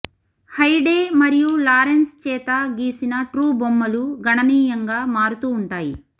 Hyde మరియు Lawrence చేత గీసిన ట్రూ బొమ్మలు గణనీయంగా మారుతూ ఉంటాయి